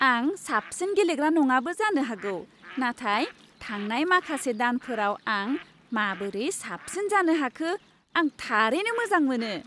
आं साबसिन गेलेग्रा नङाबो जानो हागौ, नाथाय थांनाय माखासे दानफोराव आं माबोरै साबसिन जानो हाखो, आं थारैनो मोजां मोनो।